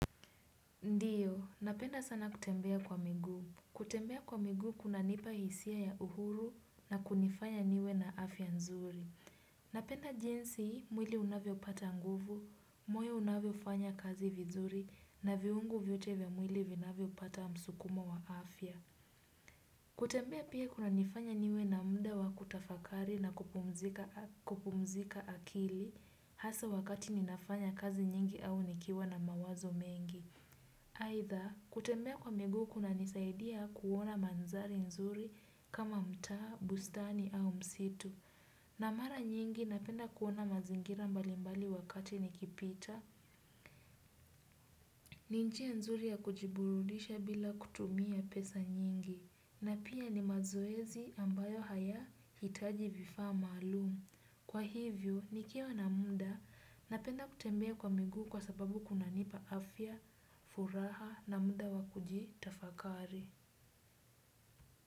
Ndiyo, napenda sana kutembea kwa miguu. Kutembea kwa miguu kunanipa hisia ya uhuru na kunifanya niwe na afya nzuri. Napenda jinsi, mwili unavyopata nguvu, moyo unavyofanya kazi vizuri, na viungo vyote vya mwili vinavyopata msukumo wa afya. Kutembea pia kunanifanya niwe na muda wa kutafakari na kupumzika akili, hasa wakati ninafanya kazi nyingi au nikiwa na mawazo mengi. Aidha, kutembea kwa miguu kunanisaidia kuona mandhari nzuri kama mtaa, bustani au msitu. Na mara nyingi napenda kuona mazingira mbalimbali wakati nikipita. Ni njia nzuri ya kujiburudisha bila kutumia pesa nyingi. Na pia ni mazoezi ambayo hayahitaji vifaa maalumu. Kwa hivyo nikiwa na muda napenda kutembea kwa miguu kwa sababu kunanipa afya, furaha na muda wa kujitafakari.